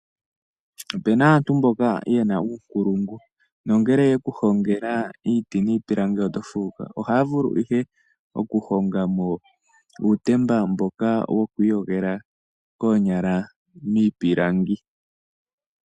Opu na aantu mboka ye na uunkulungu nongele ye ku hongela iiti niipilangi oto fuuka. Ohaya vulu ihe okuhonga mo uutemba mboka wokwiiyogela koonyala miipilangi.